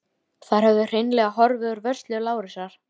Þær höfðu hreinlega horfið úr vörslu Lárusar.